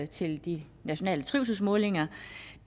til de nationale trivselsmålinger